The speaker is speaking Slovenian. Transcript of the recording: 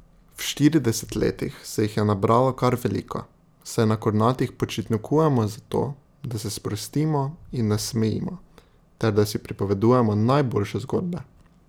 V štirideset letih se jih je nabralo kar veliko, saj na Kornatih počitnikujemo zato, da se sprostimo in nasmejimo ter da si pripovedujemo najboljše zgodbe.